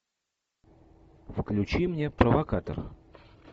включи мне провокатор